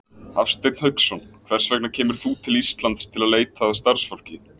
Hafsteinn Hauksson: Hvers vegna kemur þú til Íslands til að leita að starfsfólki?